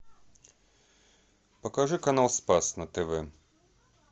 покажи канал спас на тв